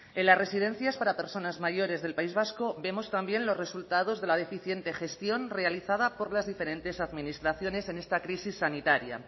en las residencias para personas mayores del país vasco vemos también los resultados de la deficiente gestión realizada por las diferentes administraciones en esta crisis sanitaria